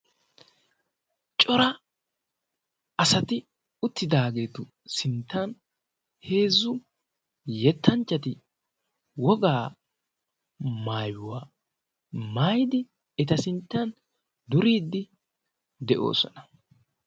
cora asati uttidaageetu sinttan heezzu yettanchchati wogaa maayuwaa maydi eta sinttan duriiddi de'oosona.